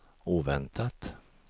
oväntat